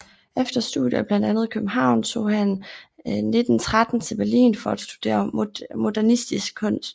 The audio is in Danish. Efter studier i blandt andet København tog han 1913 til Berlin for at studere modernistisk kunst